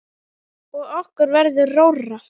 Og okkur verður rórra.